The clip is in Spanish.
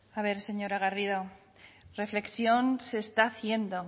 a ver señora garrido reflexión se está haciendo